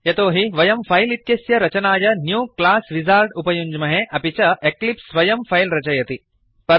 यतोहि वयं फैल् इत्यस्य रचनाय न्यू क्लास विजार्ड उपयुञ्ज्महे अपि च एक्लिप्स् स्वयं फैल् रचयति